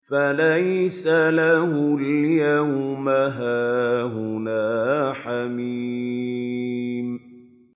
فَلَيْسَ لَهُ الْيَوْمَ هَاهُنَا حَمِيمٌ